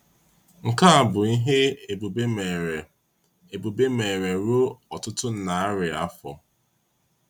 Nkea bụ ihe Ebube mere Ebube mere ruo ọtụtụ narị afọ.